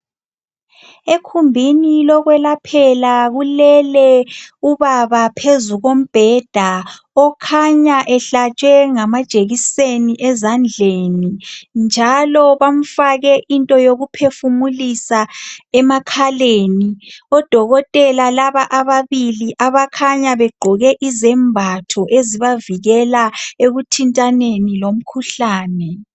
Ekhumbini lokwelaphela kulele ubaba phezu kombheda okhanya ehlatshwe ngama jekiseni ezandleni njalo bamfake into yokuphefumulisa emakhaleni. Odokotela laba ababili abakhanya begqoke izembatho ezibavikela ekuthintaneni lomkhuhlane.